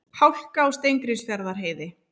Hálka á Steingrímsfjarðarheiði